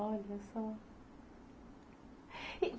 Olha só.